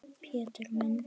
Pétur minn.